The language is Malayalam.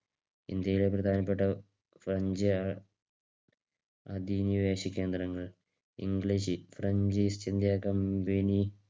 ഇന്ത്യയിൽ പ്രധാനപ്പെട്ട സഞ്ചി അതിനി വേശിക്കാൻ തുടങ്ങി. English french East India Company